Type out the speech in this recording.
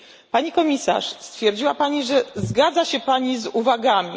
Pani Komisarz, stwierdziła Pani, że zgadza się z uwagami.